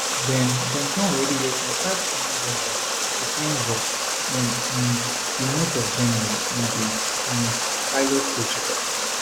dem dem don already welcome five kenyan bus drivers to flensburg in um di north of germany in di um pilot project